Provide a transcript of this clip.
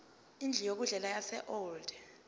indlu yokudlela yaseold